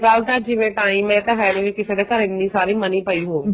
ਤਾਂ ਜਿਵੇਂ time ਹੈ ਇਹ ਤਾਂ ਹੈ ਨੀ ਕਿਸੇ ਦੇ ਘਰ ਇੰਨੀ ਸਾਰੀ money ਪਈ ਹੋਵੇ